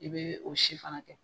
I bɛ o si fana kɛ